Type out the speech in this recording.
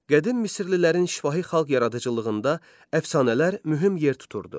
Qədim misirlilərin şifahi xalq yaradıcılığında əfsanələr mühüm yer tuturdu.